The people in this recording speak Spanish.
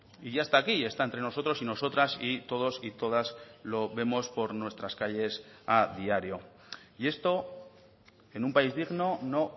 y ya está aquí está entre nosotros y nosotras y todos y todas lo vemos por nuestras calles a diario y esto en un país digno no